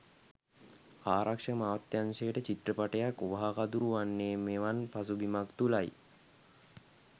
ආරක්ෂක අමාත්‍යාංශයට චිත්‍රපටයක් වහකදුරු වන්නේ මෙවන් පසුබිමක් තුළයි.